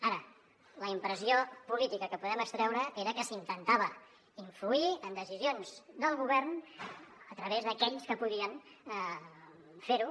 ara la impressió política que podem extreure era que s’intentava influir en decisions del govern a través d’aquells que podien ferho